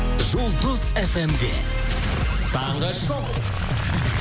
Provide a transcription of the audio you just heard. жұлдыз фм де таңғы шоу